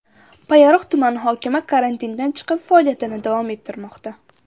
Payariq tumani hokimi karantindan chiqib, faoliyatini davom ettirmoqda.